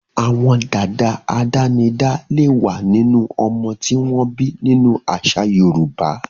Àwọn dad àdánidá lè wà nínú ọmọ tí wọ́n bí nínú àṣà Yorùbá.